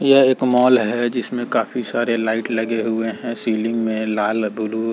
यह एक मॉल है जिसमें काफी सारे लाईट लगे हुए हैं। सीलीग में लाल ब्लू --